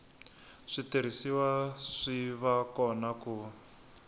switirhisiwa swi va kona ku